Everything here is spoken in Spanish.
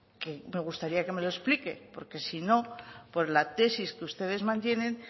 que me gustaría que me lo explique porque si no por la tesis que ustedes mantienen